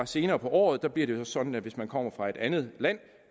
senere på året bliver det sådan at hvis man kommer fra et andet land